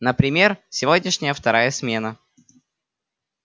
например сегодняшняя вторая смена